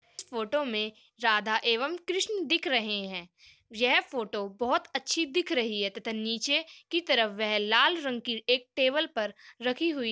इस फोटो में राधा एवं कृष्ण दिख रहे है यह फोटो बहुत अच्छी दिख रही है तथा नीचे की तरफ वह लाल रंग की एक टेबल पर रखी हुई--